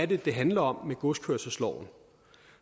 det er det handler om med godskørselsloven